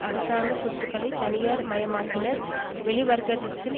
அரசாங்க சொத்துக்களைத் தனியார் மயமாக்கினர் வெளிவர்த்தகத்தில்